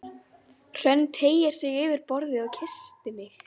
Hrönn teygði sig yfir borðið og kyssti mig.